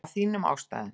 Af þínum ástæðum.